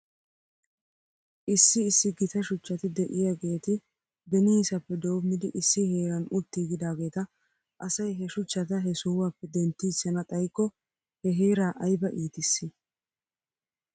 Issi issi gita shuchchati de'iyaageeti beniisappe doomidi issi heeran utiigidaageeta asay he shuchchata he sohuwaappe denttiichchana xaykko he heeraa ayba iitisii?